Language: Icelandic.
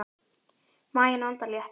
Maginn andar léttar.